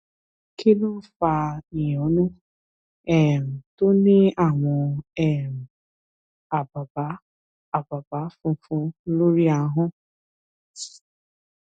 kí ló ń fa ìyọnu um tó ní àwọn um àbàbá àbàbÁ funfun lórí ahọ́n